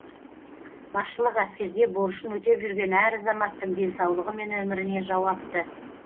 басшылық әскерде борышын өтеп жүрген әр азаматтың денсаулығы мен өміріне жауапты